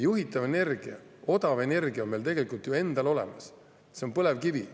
Juhitav energia, odav energia on meil tegelikult ju endal olemas: see on põlevkivi.